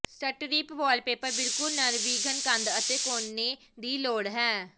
strip wallpaper ਬਿਲਕੁਲ ਨਿਰਵਿਘਨ ਕੰਧ ਅਤੇ ਕੋਨੇ ਦੀ ਲੋੜ ਹੈ